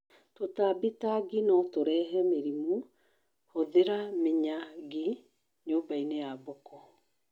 Tũtambi ta ngi notũrehe mĩrimũ; hũthĩra miya ngi nyũmbainĩ ya mbũkũ